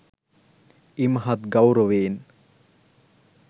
ඉමහත් ගෞරවයෙන්